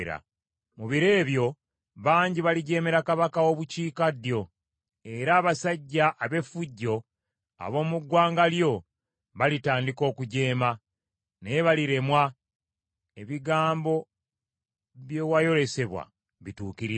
“Mu biro ebyo bangi balijeemera kabaka w’obukiikaddyo; era n’abasajja ab’effujjo ab’omu ggwanga lyo balitandika okujeema, naye baliremwa, ebigambo bye wayolesebwa bituukirire.